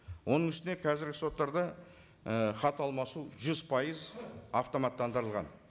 оның үстіне қазіргі соттарда і хат алмасу жүз пайыз автоматтандырылған